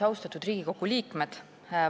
Austatud Riigikogu liikmed!